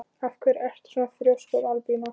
Af hverju ertu svona þrjóskur, Albína?